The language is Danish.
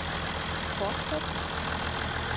fortsæt